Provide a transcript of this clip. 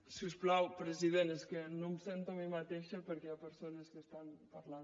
si us plau president és que no em sento a mi mateixa perquè hi ha persones que estan parlant